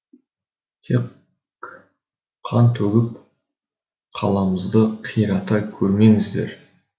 тек қан төгіп қаламызды қирата көрмеңіздер